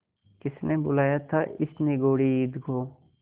किसने बुलाया था इस निगौड़ी ईद को